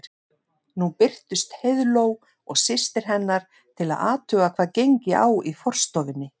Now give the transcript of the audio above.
Nú birtust Heiðló og systir hennar til að athuga hvað gengi á í forstofunni.